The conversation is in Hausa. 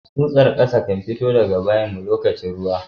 Tsusar kasa kan fitowa daga gidan bayin mu lokacin ruwa.